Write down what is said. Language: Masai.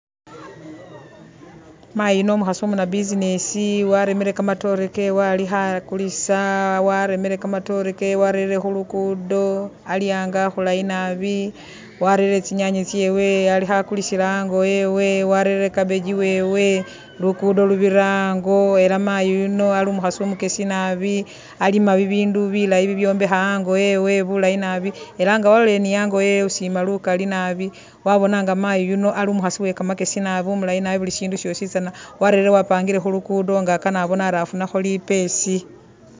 Mayi yuno umukhasi umuna business, waremere kamatoore kewe alikho akulisa waremere kamatoore kewe warere khu lugudo, ali ango akhulayi naabi, warerere tsinyanya tsewe alikho akulisila ango wewe, warerere cabbage wewe, lugudo lubira ango era mayi yuno ali umukhasi umukesi naabi alima bi bindu bilayi bi byombekha ango wewe bulayi naabi era nga walolelele ni ango wewe usiima lukali nabi wabona nga mayi yuno ali umukhasi uwekamakyesi nabi umulayi nabi buli shindu shosi tsana warelele wapangile khu lugudo nga akan abone ari afunakho lipesi.